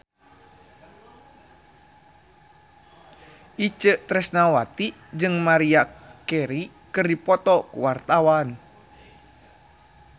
Itje Tresnawati jeung Maria Carey keur dipoto ku wartawan